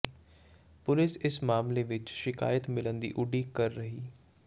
police ਇਸ ਮਾਮਲੇ ਵਿਚ ਸ਼ਿਕਾਇਤ ਮਿਲਣ ਦੀ ਉਡੀਕ ਕਰ ਰਹੀ